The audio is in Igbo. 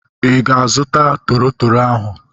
Ị ga-azuta toro toro ahu?